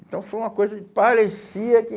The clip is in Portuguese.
Então, foi uma coisa que parecia que...